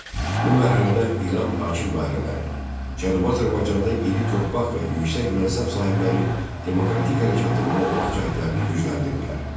Bu mərhələdə İran hakim dairələri, Cənubi Azərbaycanda iri torpaq və yüksək mənsəb sahibləri demokratik hərəkatı boğmaq cəhdlərini gücləndirdilər.